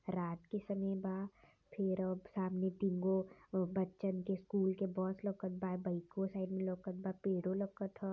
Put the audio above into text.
रात के समय बा फिर सामने तीन गो बच्चन के स्कूल के बस लउकट बा बाइको साइड में लउकत बा पेड़ों लवकट ह।